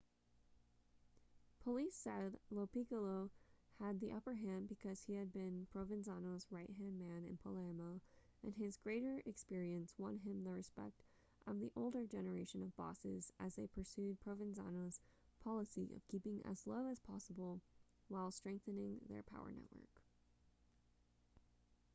police said lo piccolo had the upper hand because he had been provenzano's right-hand man in palermo and his greater experience won him the respect of the older generation of bosses as they pursued provenzano's policy of keeping as low as possible while strengthening their power network